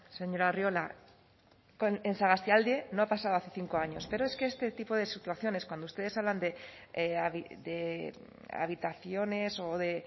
señor arriola en sagastialde no ha pasado hace cinco años pero es que este tipo de situaciones cuando ustedes hablan de habitaciones o de